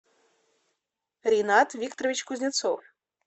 ринат викторович кузнецов